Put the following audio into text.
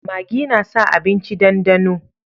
Magi na sa abinci dandano